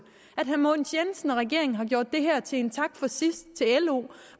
at herre mogens jensen og regeringen har gjort det her til en tak for sidst til lo